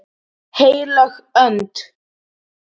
HEILÖG ÖND